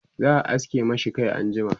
za'a aske mashi Kai anjima